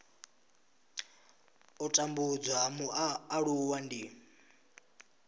u tambudzwa ha mualuwa ndi